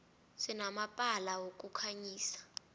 sinamalampa wokukhanyisa